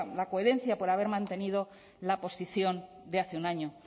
la coherencia por haber mantenido la posición de hace un año